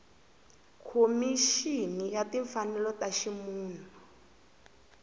khomixini ya timfanelo ta ximunhu